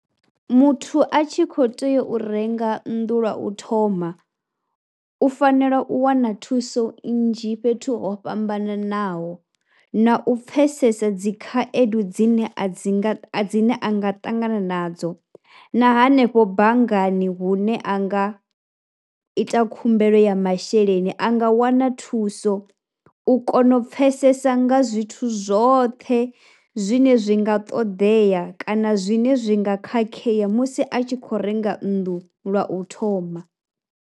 Muthu a tshi khou tea u renga nnḓu lwa u thoma u fanela u wana thuso nnzhi fhethu ho fhambananaho na u pfhesesa dzi khaedu dzine a dzi nga dzi ne a nga ṱangana nadzo. Na hanefho banngani hune a nga ita khumbelo ya masheleni, a nga wana thuso u kona u pfhesesa nga zwithu zwoṱhe zwine zwi nga ṱoḓea kana zwine zwi nga khakhea musi a tshi khou renga nnḓu lwa u thoma.